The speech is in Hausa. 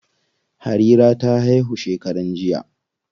Harira ta haihu shekaran jiya.